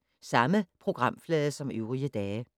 Samme programflade som øvrige dage